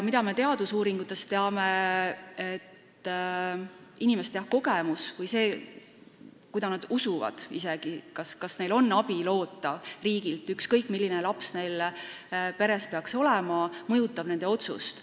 Me teame teadusuuringutest, et inimeste kogemus või see, kas nad usuvad, et neil on riigilt abi loota, ükskõik, milline laps neil peres peaks olema, mõjutab nende otsust.